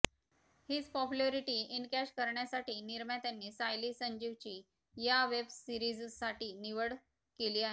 हीच popularity encash करण्यासाठी निर्मात्यांनी सायली संजीवची या वेबसिरीजसाठी निवड केली आहे